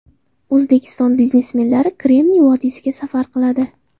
O‘zbekiston biznesmenlari Kremniy vodiysiga safar qiladi.